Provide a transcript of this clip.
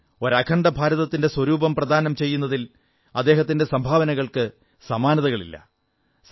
രാജ്യത്തിന് ഒരു അഖണ്ഡഭാരതത്തിന്റെ സ്വരൂപം പ്രദാനം ചെയ്യുന്നതിൽ അദ്ദേഹത്തിന്റെ സംഭാവനകൾക്കു സമാനതകളില്ല